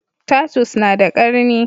Tatus na da ƙarni